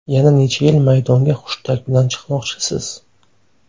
Yana necha yil maydonga hushtak bilan chiqmoqchisiz?